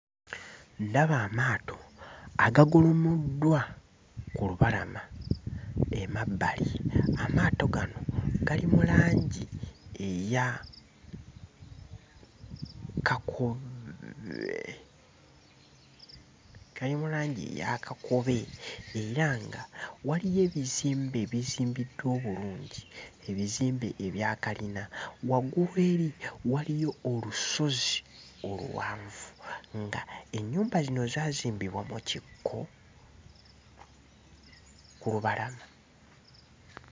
Ndaba amaato agagolomoddwa ku lubalama emabbali. Amaato gano gali mu langi eya kakobe gali mu langi eya kakobe era nga waliyo ebizimbe ebizimbiddwa obulungi, ebizimbe ebya kalina. Waggulu eri waliyo olusozi oluwanvu ng'ennyumba zino zaazimbibwa mu kikko ku lubalama.